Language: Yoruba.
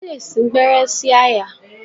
Wọ́n lè sí gbẹ́rẹ́ sí àyà.